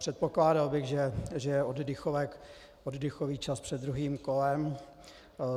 Předpokládal bych, že je oddychový čas před druhým kolem.